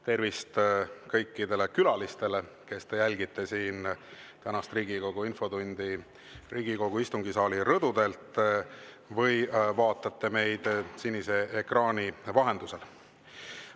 Tervist kõikidele, kes te jälgite tänast Riigikogu infotundi Riigikogu istungisaali rõdudelt või vaatate meid sinise ekraani vahendusel.